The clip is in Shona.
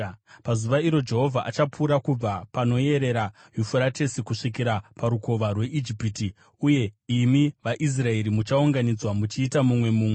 Pazuva iro Jehovha achapura kubva panoyerera Yufuratesi kusvikira paRukova rweIjipiti, uye imi vaIsraeri, muchaunganidzwa muchiita mumwe mumwe.